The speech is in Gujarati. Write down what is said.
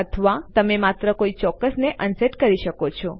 અથવા તમે માત્ર કોઈ ચોક્કસ ને અનસેટ કરી શકો છો